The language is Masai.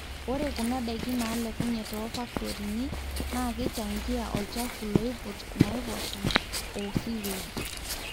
ore kuna daiki naalekunye too faktorini naa keichangia olchafu loiput naipoosha o sewage